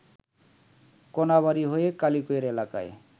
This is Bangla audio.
কোনাবাড়ী হয়ে কালিয়াকৈর এলাকায়